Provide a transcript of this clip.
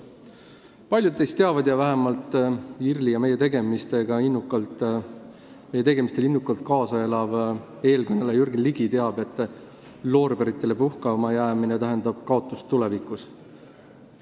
Paljud teist teavad – vähemalt IRL-ile ja meie tegemistele innukalt kaasaelav eelkõneleja Jürgen Ligi teab –, et loorberitele puhkama jäämine tähendab kaotust tulevikus.